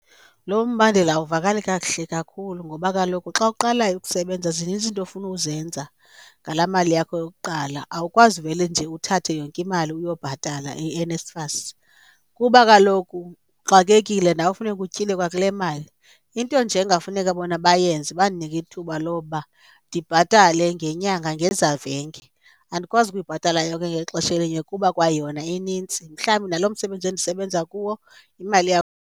Lo mbandela awuvakali kakuhle kakhulu ngoba kaloku xa uqalayo ukusebenza zininzi into ofuna uzenza ngalaa mali yakho yokuqala. Awukwazi uvele nje uthathe yonke imali uyobhatala iNSFAS, kuba kaloku uxakekile nawe funeka utyile kwakule mali. Into nje engafuneka bona bayenze bandinike ithuba lokuba ndibhatale ngenyanga ngezavenge, andikwazi ukuyibhatala yonke ngexesha elinye kuba kwayona inintsi, mhlawumbi naloo msebenzi endisebenza kuwo imali .